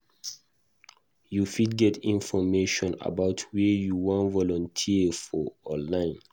You fit get information about where you wan volunteer for online